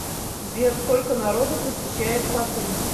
сбер сколько народу посещает хатынь